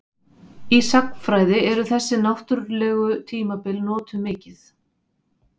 Í sagnfræði eru þessi náttúrlegu tímabil notuð mikið.